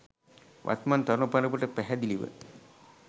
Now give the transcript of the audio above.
වත්මන් තරුණ පරපුරට පැහැදිලිව